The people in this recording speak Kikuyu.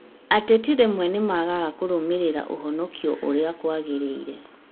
Ateti rĩmwe nĩmaagaga kũrũmĩrĩra ũhonokio ũrĩa kwagĩrĩire